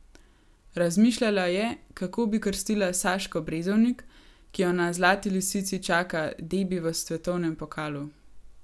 Razmišljala je, kako bi krstila Saško Brezovnik, ki jo na Zlati lisici čaka debi v svetovnem pokalu.